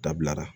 Dabila